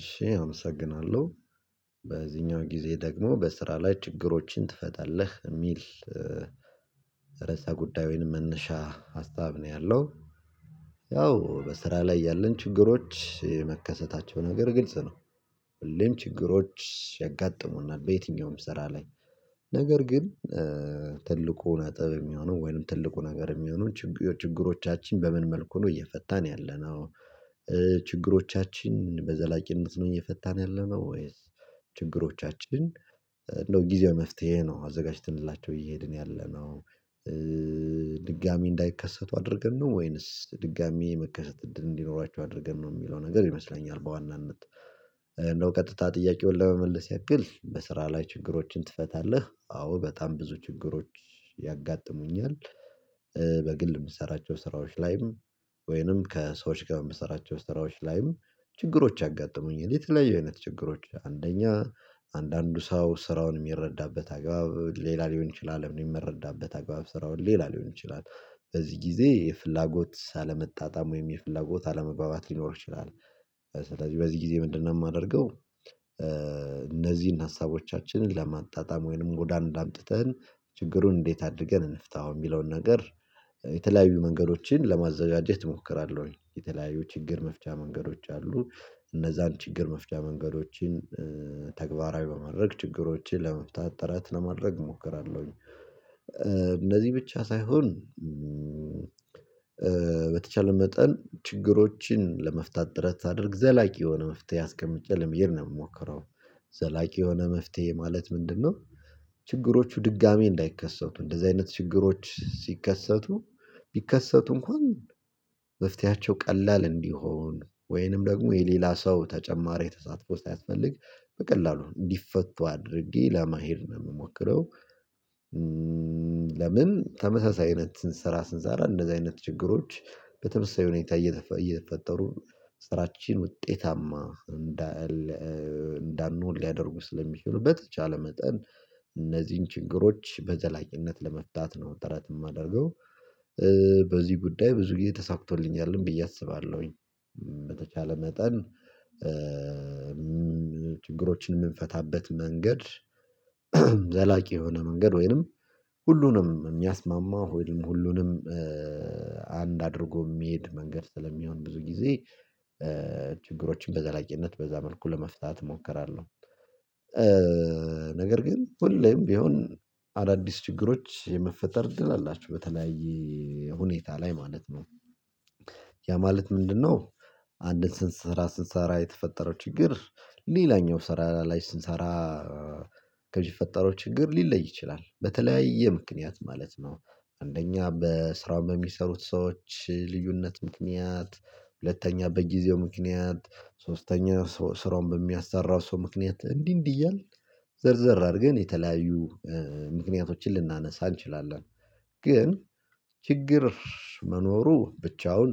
እሺ አመሰግናለሁ። በዚህኛው ጊዜ ደግሞ በስራ ላይ ችግሮችን ትፈታለህ? የሚል ርዕሰ ጉዳይ ወይም መነሻ ሀሳብ ነው ያለው። ያው በስራ ላይ ያለን ችግሮች መከሰታቸው ነገር ግልጽ ነው። ሁሌም ችግሮች ያጋጥሙናል፤ በየትኛውም ስራ ላይ። ነገር ግን ትልቁ ነጥብ የሚሆነው ወይም ትልቁ ነገር የሚሆነው ችግሮቻችን በምን መልኩ ነው እየፈታን ያለነው? ችግሮቻችን በዘላቂነት ነው እየፈታን ያለነው? ወይስ ችግሮቻችን እንደው ጊዜው መፍትሄ ነው አዘጋጅተንላቸው እየሄድን ያለነው? ድጋሚ እንዳይከሰቱ አድርገን ነው? ወይንስ ድጋሚ የመከሰት እድል እንዲኖራቸው አድርገን ነው? የሚለው ነገር ይመስለኛል በዋናነት። እንደው ቀጥታ ጥያቄውን ለመመለስ ያክል በስራ ላይ ችግሮችን ትፈታለህ? አዎ በጣም ብዙ ችግሮች ያጋጥሙኛል የምትሰራቸው ስራዎች ላይም፤ ወይንም ከሰዎች ጋር የምሰራቸው ስራዎች ላይም፤ ችግሮች ያጋጥሙኛል። የሊት ላይ የእውነት ችግሮች፤ አንደኛ አንዳንዱ ሰው ስራውን የሚረዳበት አግባብ ሌላ ሊሆን ይችላል፤ የሚመረዳበት አግባብ ስራውን ሌላ ሊሆን ይችላል፤ በዚህ ጊዜ የፍላጎት አለመጣጣም ወይም የፍላጎት አለመባባት ሊኖር ይችላል። ስለዚህ በዚህ ጊዜ ምንድነው የማደርገው? እነዚህን ሀሳቦቻችንን ለማጣጣም፤ ወይንም ወደ አንድ አምጥተን ችግሩን እንዴት አድርገን እንፍታው የሚለውን ነገር፤ የተለያዩ መንገዶችን ለማዘዣጀት እሞክራለሁኝ፤ የተለያዩ ችግር መፍቻ መንገዶች አሉ፤ እነዛን ችግር መፍቻ መንገዶችን ተግባራዊ በማድረግ ችግሮችን ለመፍታት ጥረት ለማድረግ እሞክራለሁኝ። እነዚህ ብቻ ሳይሆን በተቻለ መጠን ችግሮችን ለመፍታት ጥረት ሳድርግ፤ ዘላቂ የሆነ መፍትሄ አስቀምጬ ለምሄድ ነው የምሞክረው። ዘላቂ የሆነ መፍትሄ ማለት ምንድነው? ችግሮቹ ድጋሚ እንዳይከሰቱ፤ እንደዚህ አይነት ችግሮች ሲከሰቱ ቢከሰቱ እንኳን መፍትሄያቸው ቀላል እንዲሆን፤ ወይንም ደግሞ የሌላ ሰው ተጨማሪ ተሳትፎ ሳይፈልግ በቀላሉ እንዲፈቱ አድርጌ፤ ለመሄድ ነው የምሞክረው። ለምን ተመሳሳይ አይነት ስራ ስንሰራ እንደዚህ አይነት ችግሮች በተመሳሳይ ሁኔታ እየተፈጠሩ፤ ስራችን ውጤታማ እንዳንሆን ሊያደርጉ ስለሚችሉ፤ በተቻለ መጠን እነዚህን ችግሮች በዘላቅነት ለመፍታት ነው ጥረት የማደርገው። በዚህ ጉዳይ ብዙ ጊዜ ተሳክቶልኛል ብዬ አስባለሁኝ፤ በተቻለ መጠን ችግሮችን የምንፈታበት መንገድ ዘላቂ የሆነ መንገድ ወይንም ሁሉንም የሚያስማማው፤ ወይንም ሁሉንም አንድ አድርጎ የሚሄድ መንገድ ስለሚሆን፤ ብዙ ጊዜ ችግሮችን በዘላቅነት በዛ መልኩ ለመፍታት እሞክራለሁ። ነገር ግን ሁሌም ቢሆን አዳዲስ ችግሮች የመፈጠር እድል አላቸው በተለያየ ሁኔታ ላይ ማለት ነው። ያ ማለት ምንድነው አንድን ስራ ስንሰራ የተፈጠረው ችግር፤ ሌላኛው ስራ ላይ ስንሰራ ከሚፈጠረው ችግር ሊለይ ይችላል፤ በተለያየ ምክንያት ማለት ነው፤ አንደኛ በስራው በሚሰሩት ሰዎች ልዩነት ምክንያት፤ ሁለተኛ በጊዜው ምክንያት፤ ሶስተኛ ስራውን በሚያሰራው ሰው ምክንያት፤ እንዲህ እንዲህ እያልን ዘርዘር አድርገን፤ የተለያዩ ምክንያቶችን ልናነሳ እንችላለን። ግን ችግር መኖሩ ብቻውን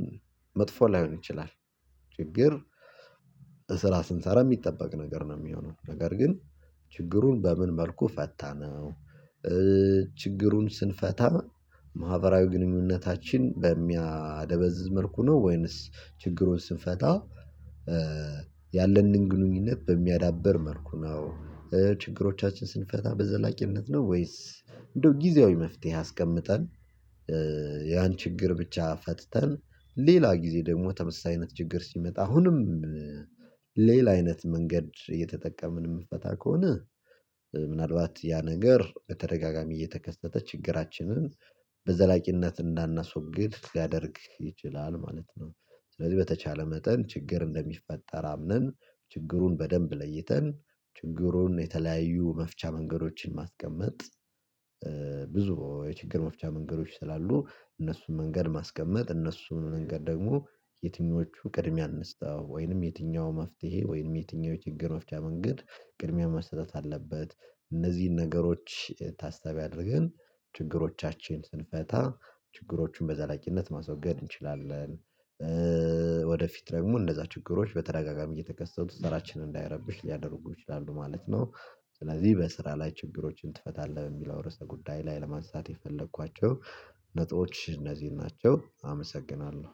መጥፎ ላይሆን ይችላል። ችግር ስንሰራ የሚጠበቅ ነገር ነው የሚሆነው፤ ነገር ግን ችግሩን በምን መልኩ ፈታ ነው? ችግሩን ስንፈታ ማህበራዊ ግንኙነታችን በሚያደበዝዝ መልኩ ነው? ወይንስ ችግሩን ስንፈታ፤ ያለንን ግንኙነት በሚያዳብር መልኩ ነው? ችግሮቻችን ስንፈታ በዘላቂነት ነው? ወይስ እንደው ጊዜያዊ መፍትሄ አስቀምጠን፤ ችግር ብቻ ፈትተን ሌላ ጊዜ ደግሞ ተመሳሳይ አይነት ችግር ሲመጣ፤ አሁንም አይነት መንገድ እየተጠቀምን የምፈታ ከሆነ ምናልባት ያ ነገር በተደጋጋሚ እየተከሰተ ችግራችንን በዘላቂነት እንዳናስወግድ ሊያደርግ ይችላል ማለት ነው። ስለዚህ በተቻለ መጠን ችግር እንደሚፈጠር አምነን፤ ችግሩን በደንብ ለይተን፤ ለችግሩ የተለያዩ መፍቻ መንገዶችን ማስቀመጥ፤ ብዙ የችግር መፍቻ መንገዶች ስላሉ እነሱን መንገድ ማስቀመጥ፤ እነሱን መንገድ ደግሞ የትኞቹ ቅድሚያ አንስተው ወይንም የትኛው መፍትሄ ወይም የትኛው ችግር ወፍቻ መንገድ ቅድሚያ መሰጠት አለበት? እነዚህን ነገሮች ታስታቢ አድርገን ችግሮቻችን ስንፈታ፤ ችግሮቹን በዘላቂነት ማስወገድ እንችላለን። ወደፊት ደግሞ እንደዛ ችግሮች በተረጋጋሚ እየተከሰቱ ስራችንን እንዳይረብሽ ሊያደርጉ ይችላሉ ማለት ነው። ስለዚህ በስራ ላይ ችግሮችን ትፈታለህ በሚለው ርዕሰ ጉዳይ ላይ ለማንሳት የፈለኳቸው ነጥቦች እነዚህን ናቸው አመሰግናለሁ።